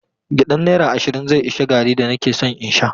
Gyaɗan naira ashirin zai ishe garri da nake son in sha.